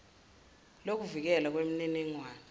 lokuvikelwa kweminining wane